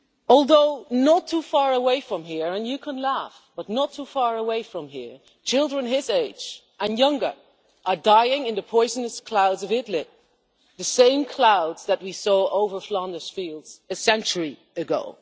Although, not too far away from here and you can laugh but not too far away from here children his age and younger are dying in the poisonous clouds of Idlib, the same clouds that we saw over Flanders Fields a century ago.